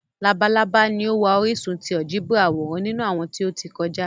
Labalaba ni o wa orisun ti áljẹbrà aworan ninu awọn ti o ti kọja.